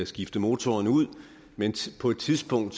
skifte motoren ud men på et tidspunkt